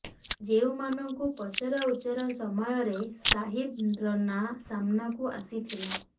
ଯେଉଁମାନଙ୍କୁ ପଚରାଉଚରା ସମୟରେ ସାହିଦ ର ନାଁ ସାମ୍ନାକୁ ଆସିଥିଲା